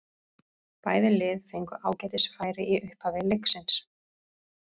Bæði lið fengu ágætis færi í upphafi leiksins.